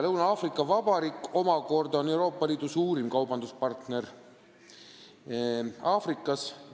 Lõuna-Aafrika Vabariik omakorda on Euroopa Liidu suurim kaubanduspartner Aafrikas.